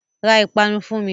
Ra ìpanu fún mi!